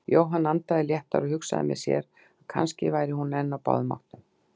Jóhann andaði léttar og hugsaði með sér að kannski væri hún enn á báðum áttum.